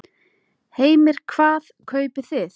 Heimir: Hvað kaupið þið?